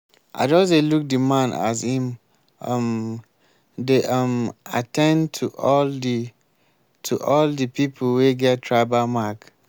i just dey look di man as im um dey um at ten d to all di to all di pipu wey get tribal mark.